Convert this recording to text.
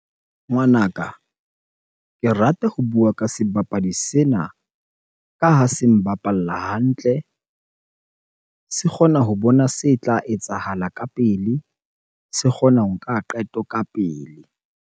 Ngwanaka, ke rata ho bua ka sebapadi sena ka ha se mbapalla hantle, se kgona ho bona se tla etsahala ka pele, se kgona ho nka qeto ka pele.